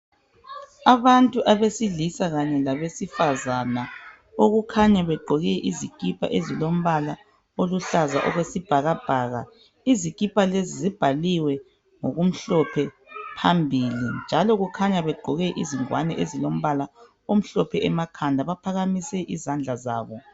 Abantua besilisa kanye labesifazana abakhanya begqoke izikipa eziluhlaza okwesibhakabhaka izikipa lezi zibhaliwe ngokumhlophe phambili njalo kukhanya begqoke izingwane ezilombala omhlophe emakhanda baphakamise izandla zabo.